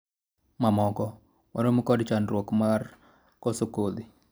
mamoko, waromo kod chandruok mar koso kodhi